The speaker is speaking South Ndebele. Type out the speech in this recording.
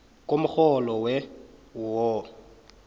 komrholo we wo